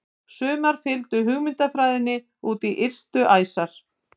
Sumar fylgdu hugmyndafræðinni út í ystu æsar.